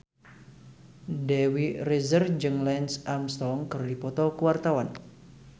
Dewi Rezer jeung Lance Armstrong keur dipoto ku wartawan